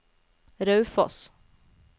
Raufoss